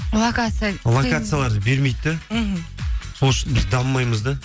локация локацияларды бермейді де мхм сол үшін біз дамымаймыз да